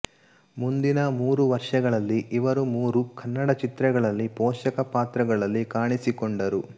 ಮುಂದಿನ ಮೂರು ವರ್ಷಗಳಲ್ಲಿ ಇವರು ಮೂರು ಕನ್ನಡ ಚಿತ್ರಗಳಲ್ಲಿ ಪೋಷಕ ಪಾತ್ರಗಳಲ್ಲಿ ಕಾಣಿಸಿಕೊಂಡರು